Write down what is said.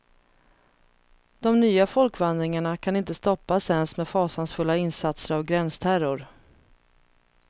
De nya folkvandringarna kan inte stoppas ens med fasansfulla insatser av gränsterror.